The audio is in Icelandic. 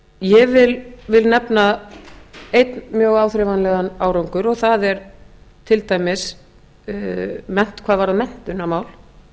ég vil nefna einn mjög áþreifanlegan árangur og það er til dæmis hvað varðar menntunarmál